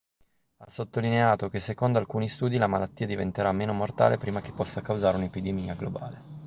ha sottolineato che secondo alcuni studi la malattia diventerà meno mortale prima che possa causare un'epidemia globale